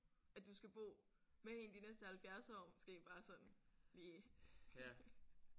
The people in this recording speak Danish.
At du skal bo med hende de næste 70 år måske bare sådan lige